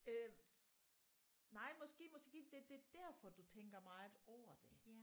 Øh nej måske måske det det derfor du tænker meget over det